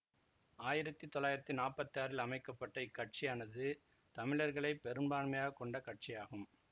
ஆயிரத்தி தொள்ளாயிரத்தி நாப்பத்தி ஆறில் அமைக்க பட்ட இக்கட்சியானது தமிழர்களை பெரும்பான்மையாக கொண்ட கட்சியாகும்